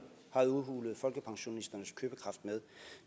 har udhulet folkepensionens købekraft med